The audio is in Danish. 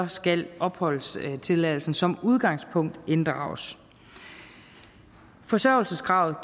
skal opholdstilladelsen som udgangspunkt inddrages forsørgelseskravet